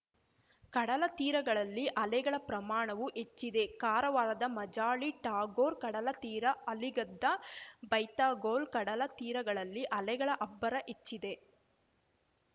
ಕಡಲ ತೀರಗಳಲ್ಲಿ ಅಲೆಗಳ ಪ್ರಮಾಣವೂ ಹೆಚ್ಚಿದೆ ಕಾರವಾರದ ಮಾಜಾಳಿ ಟಾಗೋರ್‌ ಕಡಲತೀರ ಅಲಿಗದ್ದಾ ಬೈತಗೋಲ್‌ ಕಡಲ ತೀರಗಳಲ್ಲಿ ಅಲೆಗಳ ಅಬ್ಬರ ಹೆಚ್ಚಿದೆ